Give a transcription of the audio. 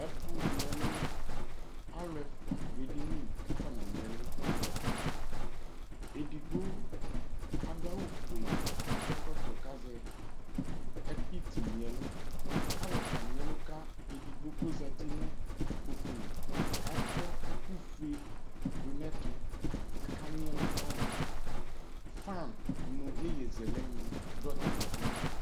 Ɛfʋ gini ɛlʋ Alʋ ɛfua dʋ ɛdini kʋ akɔna gini ɛlʋ kalʋ Edigbo adʋ awʋ fue kʋ akɔ ɛkɔtɔ k'azɛ iti gni ɛlʋ kayɔ kagni ɛlʋ kʋ edigbo kʋ ozati nʋ ikpoku li k'akɔ ɛkʋ ƒue dʋ n'ɛtʋ, aka gni ɛlʋ kayi Fan nʋ iyezɛlɛ ni dʋ atamidu